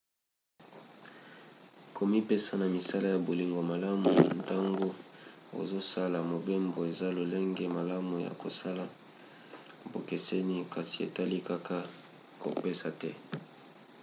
komipesa na misala ya bolingo malamu ntango ozosala mobembo eza lolenge malamu ya kosala bokeseni kasi etali kaka kopesa te